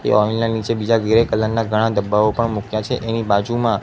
તે ઓઈલ ના નીચે બીજા ગ્રે કલર ના ઘણા ડબ્બાઓ પણ મૂક્યા છે એની બાજુમાં--